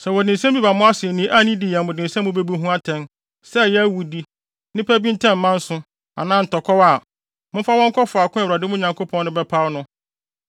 Sɛ wɔde nsɛm bi ba mo asennii a ne di yɛ mo den sɛ mubebu ho atɛn, sɛ ɛyɛ awudi, nnipa bi ntam manso anaa ntɔkwaw a, momfa wɔn nkɔ faako a Awurade, mo Nyankopɔn no, bɛpaw no.